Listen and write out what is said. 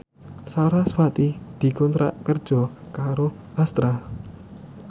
sarasvati dikontrak kerja karo Astra